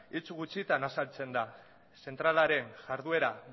hitz gutxitan azaltzen da zentralaren jarduera